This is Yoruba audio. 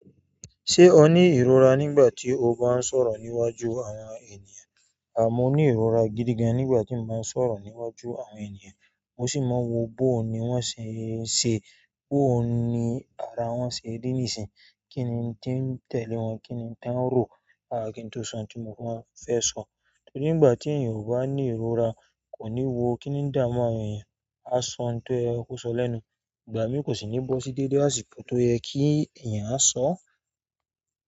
Ṣé o ní ìrora nígbà tí o bá ń sọ̀rọ̀ níwájú àwọn ènìyàn? À mó ní ìrora gidi gan nígbà tí ba ń sọ̀rọ̀ níwájú àwọn ènìyàn. Mo sì máa wo bóò ní wọ́n ṣe ń ṣe, bóò ní ara wọ́n ṣe rí nì isín, kíni tí ń tẹ̀lé wọn, kíni tí wọ́n ń rò, àá ki n to sọ n tí mo máa fẹ́ sọ. Torí nígbà tí ènìyàn bá ní ìrora kò ní wo kíni n damu àwọn ènìyàn, a sọ n tó yẹ kó sọ lẹ́nu. Ìgbà míi kò sì ní bọ́sí dédé àsìkò tó yẹ kí ènìyàn a sọ.